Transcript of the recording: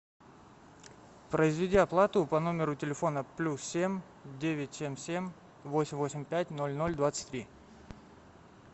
произведи оплату по номеру телефона плюс семь девять семь семь восемь восемь пять ноль ноль двадцать три